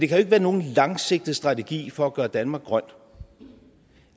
kan være nogen langsigtet strategi for at gøre danmark grøn